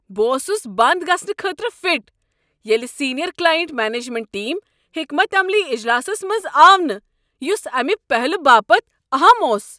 بہٕ اوس بنٛد گژھنہٕ خٲطرٕ فٹ ییٚلہ سیٖنیر کلاینٹ مینجمنٹ ٹیم حکمت عملی اجلاسس منٛز آو نہٕ یُس امہِ پہلہِ باپتھ اہم اوس۔